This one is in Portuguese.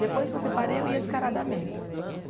Depois que eu separei, eu ia descaradamente.